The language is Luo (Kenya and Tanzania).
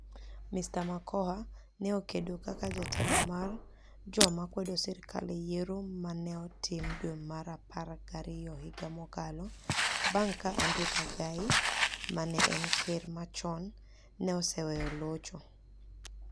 Mr. Makoha ni e okedo kaka jatelo mar joma kwedo sirkal e yiero ma ni e otim dwe mar apar gi ariyo higa mokalo, banig ' ka Adrew Kagai, ma ni e eni ker machoni, ni e oseweyo locho.